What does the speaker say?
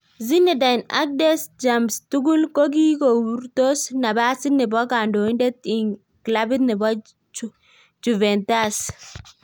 Zinedine ak Deschamps tugul kokikourtos napasit nebo kandoindet ing klabit nebo Juventus.